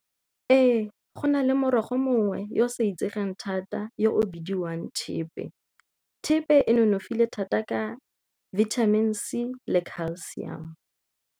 Ee, go na le morogo mongwe yo o sa itsegeng thata yo o bidiwang thepe. Thepe e nonofile thata ka vitamin C le calcium.